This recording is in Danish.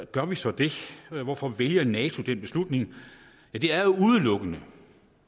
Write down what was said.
gør vi så det hvorfor vælger nato den beslutning det er jo udelukkende